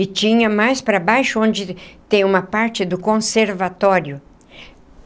E tinha mais para baixo, onde tem uma parte do conservatório.